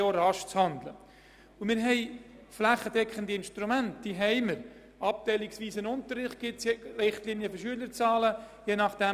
Wir haben flächendeckende Instrumente, wie etwa den abteilungsweisen Unterricht, der sich nach der Klassengrösse richtet.